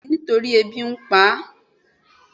bẹẹni nítorí ebí n pá